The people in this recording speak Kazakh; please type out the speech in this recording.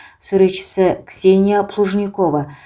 суретшісі ксения плужникова